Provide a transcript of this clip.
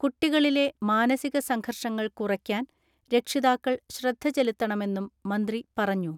കുട്ടികളിലെ മാനസിക സംഘർഷങ്ങൾ കുറയ്ക്കാൻ രക്ഷിതാക്കൾ ശ്രദ്ധ ചെലുത്തണമെന്നും മന്ത്രി പറഞ്ഞു.